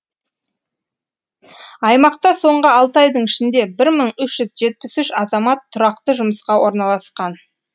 аймақта соңғы алты айдың ішінде бір мың үш жүз жетпіс үш азамат тұрақты жұмысқа орналасқан